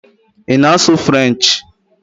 Ị na-asụ Frenchi?